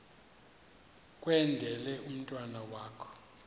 kwendele umntwana wakho